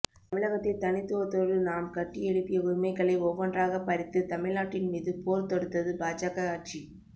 தமிழகத்தில் தனித்துவத்தோடு நாம் கட்டி எழுப்பிய உரிமைகளை ஒவ்வொன்றாகப் பறித்து தமிழ் நாட்டின் மீது போர் தொடுத்தது பாஜக ஆட்சி